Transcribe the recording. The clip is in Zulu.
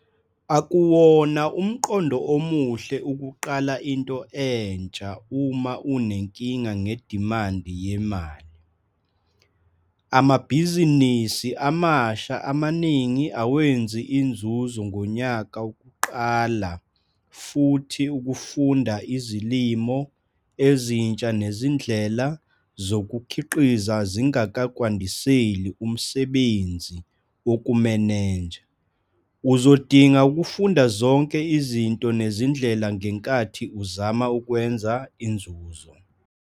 Akuwona umqondo omuhle ukuqala into entsha uma unenkinga ngedimandi yemali. Amabhizinisi amasha amaningi awenzi inzuzo ngonyaka wokuqala futhi ukufunda izilimo ezintsha nezindlela zokukhiqiza zingakwandisela umsebnzi wokumenenja. Uzodinga ukufunda zonke izinto nezindlela ngenkathi uzama ukwenza inzuzo.